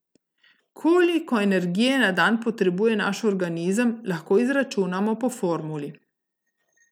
Koliko energije na dan potrebuje naš organizem, lahko izračunamo po formuli.